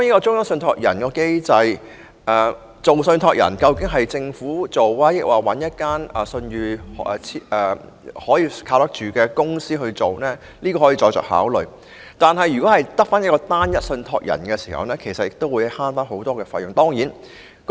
中央受託人究竟由政府充當，還是找一家具信譽又可靠的公司擔任，可以再作考慮；無論如何，以單一受託人模式運作可節省很多費用。